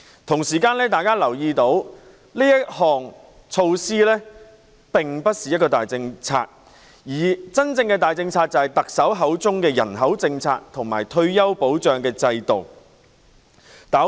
同時，大家也留意到這項措施並非大政策，而真正的大政策是特首口中的人口政策和退休保障制度。